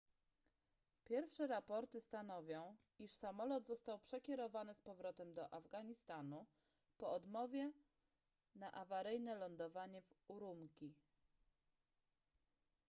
pierwsze raporty stanowią iż samolot został przekierowany z powrotem do afganistanu po odmowie na awaryjne lądowanie w ürümqi